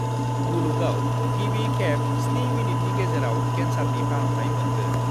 मुलुगाव गिबि खेब 7 मिनिटनि गेजेराव केन्सारनि फाहामथाय मोनगोन